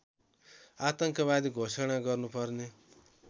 आतंकवादी घोषणा गर्नुपर्ने